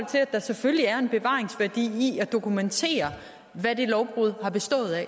der selvfølgelig er en bevaringsværdi i at dokumentere hvad det lovbrud har bestået af